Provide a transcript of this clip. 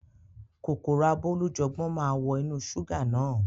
Kòkòrò abólújọpọ́n máa wọ inú ṣúgà náà.